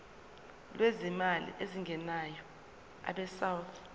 lwezimali ezingenayo abesouth